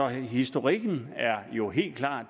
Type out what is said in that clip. historikken er jo helt klar